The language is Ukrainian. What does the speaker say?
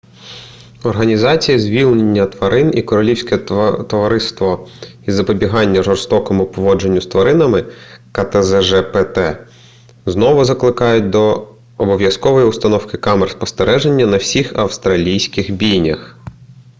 організація звільнення тварин і королівське товариство із запобігання жорстокому поводженню з тваринами ктзжпт знову закликають до обов'язкової установки камер спостереження на всіх австралійських бійнях